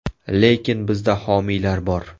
Lekin bizda homiylar bor.